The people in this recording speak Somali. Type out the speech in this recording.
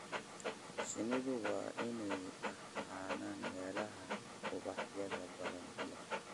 Shinnidu waa inay ahaadaan meelaha ubaxyada badan leh.